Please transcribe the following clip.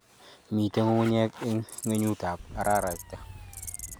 Mito ng'ung'unyek eng' ng'wengut ab araraita